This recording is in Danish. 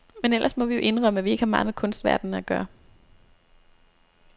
Men ellers må vi jo indrømme, at vi ikke har meget med kunstverdenen at gøre.